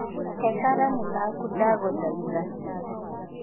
He karamũ gakũ ndagũthaitha